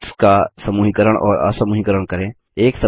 objects का समूहीकरण और असमूहीकरण करें